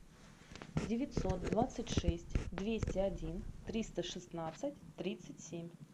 девятьсот двадцать шесть двести один триста шестнадцать тридцать семь